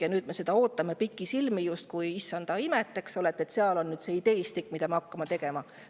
Ja nüüd me ootame seda pikisilmi justkui issanda imet, eks ole: selles on ideestik, mille järgi me hakkame tegutsema.